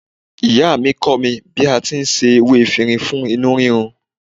Ìyáàmi kọ́ mi bí a ti ń se ewé efinrin fún inú rírun.